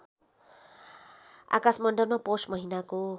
आकाशमण्डलमा पौष महिनाको